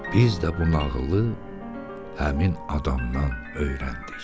Biz də bu nağılı həmin adamdan öyrəndik.